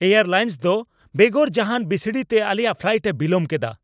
Air lines ᱫᱚ ᱵᱮᱜᱚᱨ ᱡᱟᱦᱟᱱ ᱵᱤᱥᱲᱤ ᱛᱮ ᱟᱞᱮᱭᱟᱜ ᱯᱷᱞᱟᱭᱤᱴ ᱮ ᱵᱤᱞᱚᱢ ᱠᱮᱫᱟ ᱾